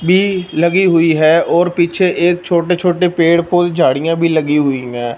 भी लगी हुई है और पीछे एक छोटे छोटे पेड़ फूल झाड़ियां भी लगी हुई हैं।